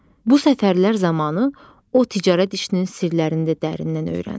Bu səfərlər zamanı o ticarət işinin sirlərini də dərindən öyrəndi.